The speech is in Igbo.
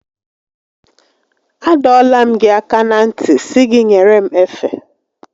A dọọla m gị aka na ntị sị gị nyere m efe